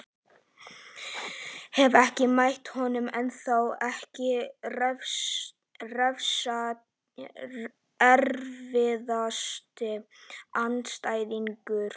Hef ekki mætt honum ennþá Ekki erfiðasti andstæðingur?